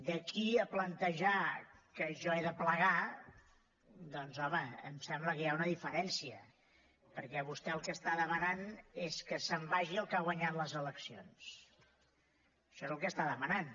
d’aquí a plantejar que jo he de plegar doncs home em sembla que hi ha una diferència perquè vostè el que està demanant és que se’n vagi el que ha guanyat les eleccions això és el que està demanant